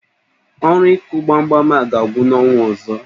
Ọrụ ịkụ gbamgbam a ga-agwụ n'ọnwa ọzọ